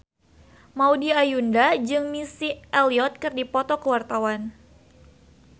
Maudy Ayunda jeung Missy Elliott keur dipoto ku wartawan